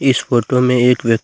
इस फोटो में एक व्य--